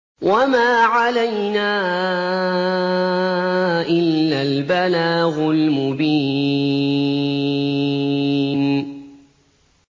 وَمَا عَلَيْنَا إِلَّا الْبَلَاغُ الْمُبِينُ